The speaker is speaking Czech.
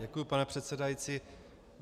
Děkuji, pane předsedající.